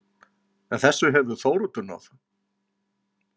En þessu hefur Þóroddur náð.